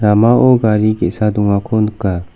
ramao gari ge·sa dongako nika.